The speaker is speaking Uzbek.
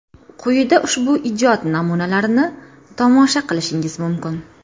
Quyida ushbu ijod namunalarini tomosha qilishingiz mumkin.